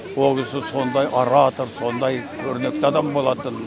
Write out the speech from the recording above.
ол кісі сондай оратор сондай көрнекті адам болатын